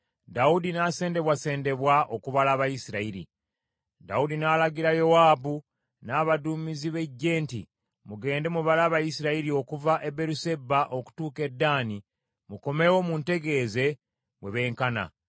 Dawudi n’alagira Yowaabu, n’abaduumizi b’eggye nti, “Mugende mubale Abayisirayiri okuva e Beeruseba okutuuka e Ddaani, mukomewo, muntegeeze bwe beenkana.”